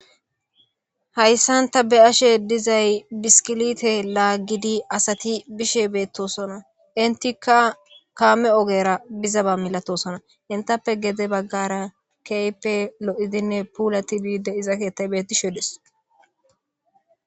Hayssanta be ashe dizay biskilite laaggidi asati bishe beettosona intika kaame ogera bizaba milatosona intappe gede baggara keype loidinne puula tibide iza keettay bettishodes.